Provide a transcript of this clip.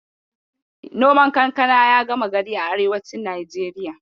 Noman kankana ya gama gari a arewacin Najeriya.